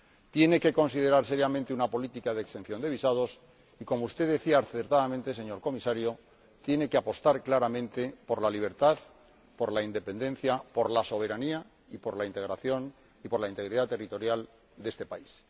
tiene que considerar seriamente una política de exención de visados y, como usted decía acertadamente, señor Comisario, tiene que apostar claramente por la libertad, por la independencia, por la soberanía y por la integridad territorial de este país.